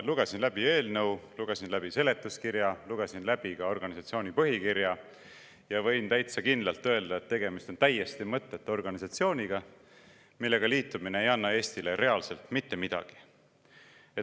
Lugesin läbi eelnõu, lugesin läbi seletuskirja, lugesin läbi ka organisatsiooni põhikirja ja võin täitsa kindlalt öelda, et tegemist on täiesti mõttetu organisatsiooniga, millega liitumine ei anna Eestile reaalselt mitte midagi.